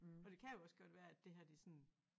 Og det kan jo også godt være at det her det sådan